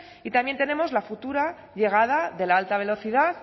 y también tenemos la futura llegada de la alta velocidad